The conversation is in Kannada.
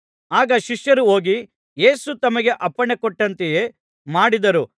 ಆಗ ಶಿಷ್ಯರು ಹೋಗಿ ಯೇಸು ತಮಗೆ ಅಪ್ಪಣೆಕೊಟ್ಟಂತೆಯೇ ಮಾಡಿದರು